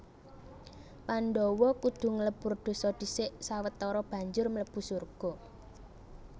Pandhawa kudu nglebur dosa dhisik sawetara banjur mlebu surga